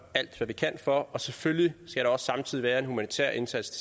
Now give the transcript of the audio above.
alt hvad vi kan for og selvfølgelig skal der også samtidig være en humanitær indsats